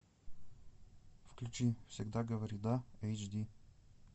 включи всегда говори да эйч ди